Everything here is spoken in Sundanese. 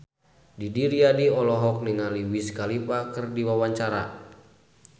Didi Riyadi olohok ningali Wiz Khalifa keur diwawancara